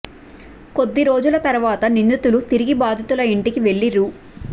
కొద్ది రోజుల తర్వాత నిందితులు తిరిగి బాధితుల ఇంటికి వెళ్లి రూ